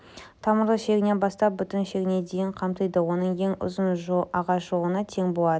тамырлы шегінен бастап бүтін шегіне дейін камтиді оның ең ұзын ағаш жолына тең болады